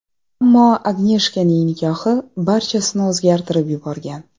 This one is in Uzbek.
Ammo Agneshkaning nikohi barchasini o‘zgartirib yuborgan.